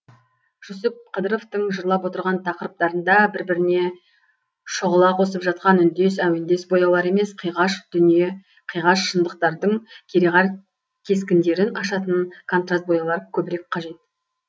жүсіп қыдыровтың жырлап отырған тақырыптарында бір біріне шұғыла қосып жатқан үндес әуендес бояулар емес қиғаш дүние қиғаш шындықтардың кереғар кескіндерін ашатын контраст бояулар көбірек қажет